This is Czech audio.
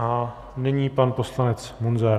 A nyní pan poslanec Munzar.